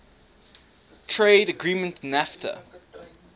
trade agreement nafta